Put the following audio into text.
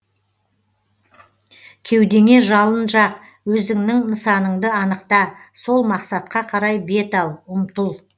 кеудеңе жалын жақ өзіңнің нысаныңды анықта сол мақсатқа қарай бет ал ұмтыл